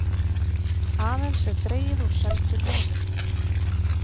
Aðeins er dregið úr seldum miðum